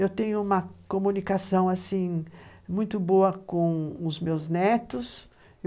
Eu tenho uma comunicação assim muito boa com os meus netos.